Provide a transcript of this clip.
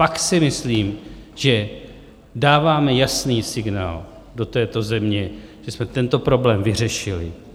Pak si myslím, že dáváme jasný signál do této země, že jsme tento problém vyřešili.